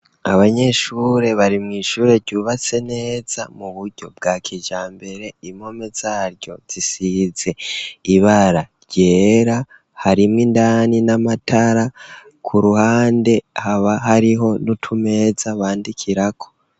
Abanyeshure bari mw' ishure ryubatse neza mu buryo bwa kijambere, impome zaryo zisize ibara ryera harimo indani n'amatara ,ku ruhande haba hariho n'utumeza bandikirako.